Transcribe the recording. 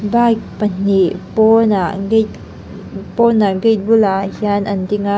bike pahnih pawn ah gate pawnah gate bulah hian an ding a.